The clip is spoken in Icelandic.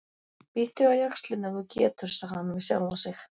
Bíttu á jaxlinn ef þú getur, sagði hann við sjálfan sig.